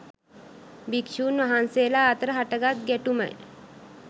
භික්‍ෂූන් වහන්සේලා අතර හටගත් ගැටුමයි.